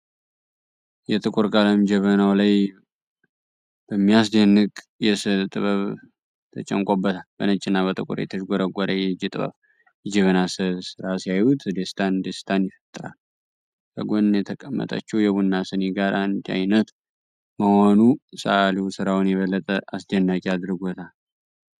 የጥቁር ቀለም ጀበናዉ ላይ በሚያስደንቅ የስዕል ጥበብ ተጨንቆበታል። በነጭና በጥቁር የተዥጎረጎረ የእጅ ጥበብ የጀበና የስዕል ስራ ሲያዩት ደስታን ደስታን ይፈጥራል። ከጎን የተቀመጠችዉ የቡና ስኒ ጋር አንድ አይነት መሆኑ ሰዓሊዉ ስራዉን የበለጠ አስደናቂ አድርጎለታል።